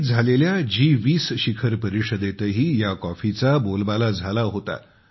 दिल्लीत झालेल्या G 20 शिखर परिषदेतही ह्या कॉफीचा बोलबाला झाला होता